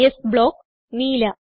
s block - നീല